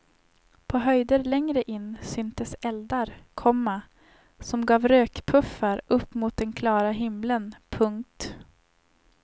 På höjder längre in syntes eldar, komma som gav rökpuffar upp mot den klara himlen. punkt